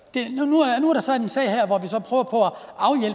nu er der så en sag